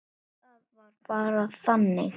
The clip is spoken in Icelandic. Og það var bara þannig.